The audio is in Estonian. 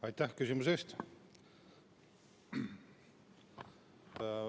Aitäh küsimuse eest!